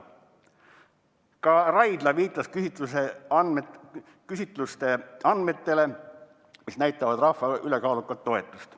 Ka Raidla viitas küsitluste andmetele, mis näitavad rahva ülekaalukat toetust.